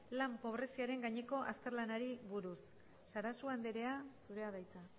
lan pobreziaren gaineko azterlanari buruz sarasua andrea zurea da hitza